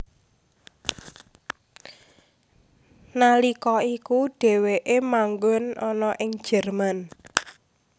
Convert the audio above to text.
Nalika iku dheweke manggon ana ing Jerman